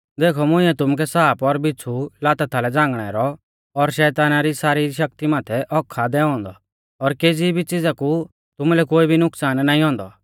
देखौ मुंइऐ तुमुकै साप और बिच़्छ़ु लाता थालै झ़ांगणै रौ और शैताना री सारी शक्ति माथै हक्क्क आ दैऔ औन्दौ और केज़ी भी च़िज़ा कु तुमुलै कोई भी नुकसान नाईं औन्दौ